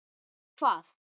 Og hvað?